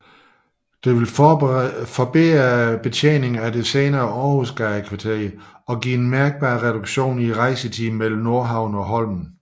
Det ville forbedre betjeningen af det senere Århusgadekvarteret og give en mærkbar reduktion i rejsetiden mellem Nordhavnen og Holmen